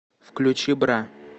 включи бра